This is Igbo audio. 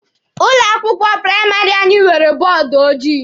Ụlọ akwụkwọ praịmarị anyị nwere bọọdụ ojii.